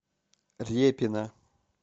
репина